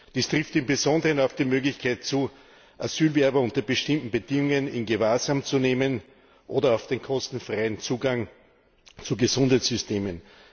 Dies trifft im Besonderen auf die Möglichkeit zu, Asylbewerber unter bestimmten Bedingungen in Gewahrsam zu nehmen, oder auf den kostenfreien Zugang zu Gesundheitssystemen.